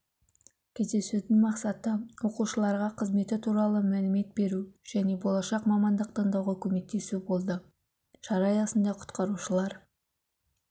кездесудің мақсаты оқушыларға қызметі туралы мәлімет беру және болашақ мамандық таңдауға көмектесу болды шара аясында құтқарушылар